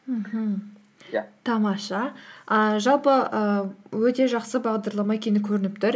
мхм иә тамаша ііі жалпы ііі өте жақсы бағдарлама екені көрініп тұр